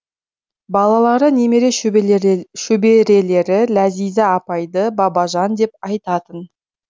балалары немере шөберелері ләзиза апайды бабажан деп айтатын